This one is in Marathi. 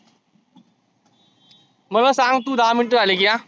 मला सांग तु दहा मिनीटे झाली की हं.